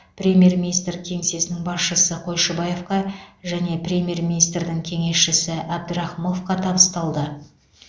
премьер министр кеңсесінің басшысы қойшыбаевқа және премьер министрдің кеңесшісі әбдірахымовқа табысталды